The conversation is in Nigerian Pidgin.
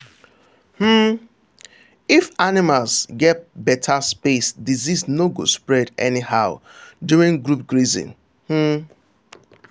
um if animals get better space disease no go spread anyhow during group grazing. um